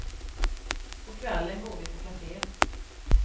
På kvällen går vi på café.